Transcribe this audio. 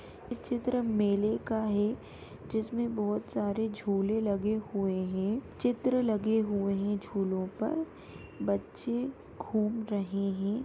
चित्र मेले का है। जिसमें बहुत सारे झूले लगे हुए हैं चित्र लगे हुए हैं (है) झूलों पर बच्चे घूम रहे हैं।